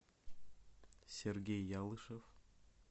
сергей ялышев